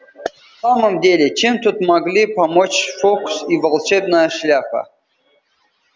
в самом деле чем тут могли помочь фоукс и волшебная шляпа